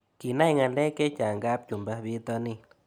Kinae ng'alek chechang' kapchumba pitonin